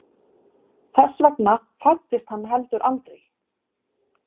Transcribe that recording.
Þess vegna fæddist hann heldur aldrei.